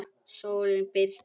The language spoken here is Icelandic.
Sólon Birkir.